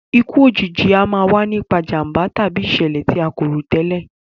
Ikú òjijì a máa wa nipa ìjànbá tàbí ìsẹ̀lẹ̀ ti a ko rò tẹ́lẹ̀